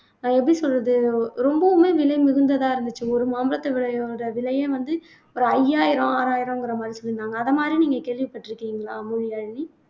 அது எப்படி சொல்றது ரொம்பவுமே விலைமிகுந்ததா இருந்துச்சு ஒரு மாம்பழத்து விலையோட விலையே வந்து ஒரு ஐயாயிரம் ஆறாயிரம்ங்கிற மாதிரி சொல்லீருந்தாங்க அதை மாதிரி நீங்க கேள்விப்பட்டிருக்கீங்களா மொழியாழினி